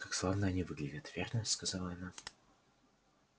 как славно они выглядят верно сказала она